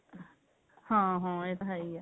ਹਾਂ ਹਾਂ ਇਹ ਤਾਂ ਹੈ ਹੀ ਆ